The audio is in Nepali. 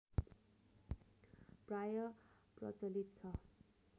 प्राय प्रचलित छ